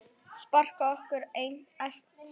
Spara orku. elskast hægt!